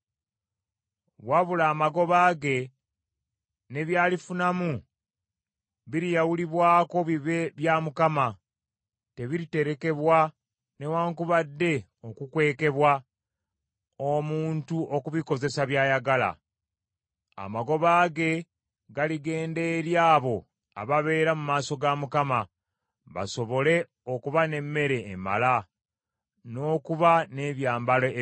Wabula amagoba ge ne byalifunamu biriyawulibwako bibe bya Mukama , tebiriterekebwa newaakubadde okukwekebwa, omuntu okubikozesa by’ayagala. Amagoba ge galigenda eri abo ababeera mu maaso ga Mukama , basobole okuba n’emmere emala, n’okuba n’ebyambalo ebirungi.